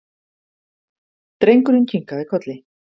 Drengurinn kinkaði kolli.